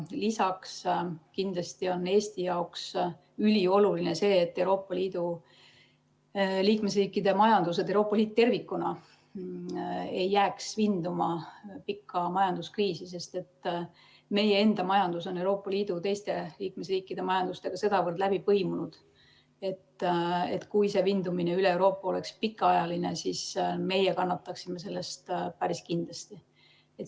Lisaks on kindlasti Eesti jaoks ülioluline see, et Euroopa Liidu liikmesriikide majandused, Euroopa Liit tervikuna ei jääks vinduma pikka majanduskriisi, sest meie enda majandus on Euroopa Liidu teiste liikmesriikide majandustega sedavõrd läbi põimunud, et kui see vindumine üle Euroopa oleks pikaajaline, siis meie kannataksime selle tõttu päris kindlasti.